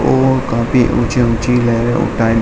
और काफी ऊँची-ऊँची लहरे उठ --